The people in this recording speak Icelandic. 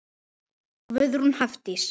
Guðrún Hafdís.